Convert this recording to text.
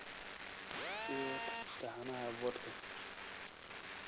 sii wad taxanaha podcast